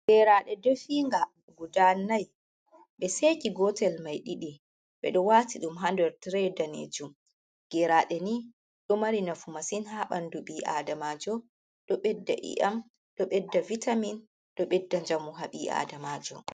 Geraɗe definga gudanai, ɓe seki gotel mai ɗiɗi ɓeɗo wati dum hander tire danejum. Geraɗe ni do mari nafu masin ha bandu bi'adamajo, dobedda i'am, dobedda vitamin, dobedda jamu ha bi adamajo.